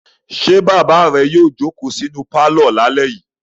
Ṣé bàbá rẹ yóò jókòó sínú pálọ̀ lálẹ́ yìí?